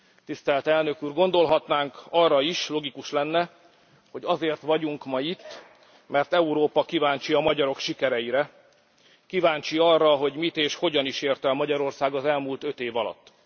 Tisztelt Elnök úr, gondolhatnánk arra is logikus lenne hogy azért vagyunk ma itt, mert Európa kíváncsi a magyarok sikereire, kíváncsi arra, hogy mit és hogyan is ért el Magyarország az elmúlt öt év alatt.